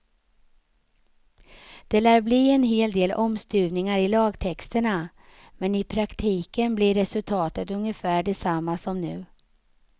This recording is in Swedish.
Det lär bli en hel del omstuvningar i lagtexterna, men i praktiken blir resultatet ungefär detsamma som nu.